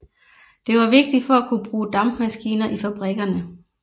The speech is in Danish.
Det var vigtigt for at kunne bruge dampmaskiner i fabrikkerne